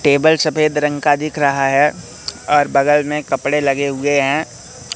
Table सफेद रंग का दिख रहा है और बगल में कपड़े लगे हुए हैं।